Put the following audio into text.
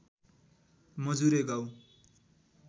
मजुरे गाउँ